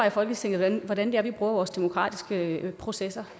i folketinget hvordan vi bruger vores demokratiske processer